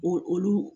Olu olu